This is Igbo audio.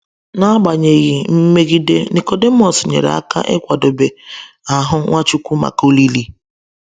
N’agbanyeghị mmegide, Nicodemus nyere aka ịkwadebe ahụ Nwachukwu maka olili.